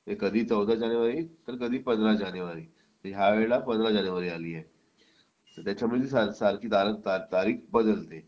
म्हणजे कधी चौदा जानेवारी तर कधी पंधरा जानेवारी यावेळी पंधरा जानेवारी ला आली आहे त्याच्यामुळे त्याची सारखी तारीख बदलते